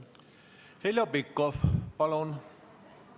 Heljo Pikhof, palun!